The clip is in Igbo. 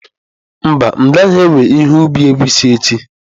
Mba, m'gaghi-ewe ihe ubi egwusi echi.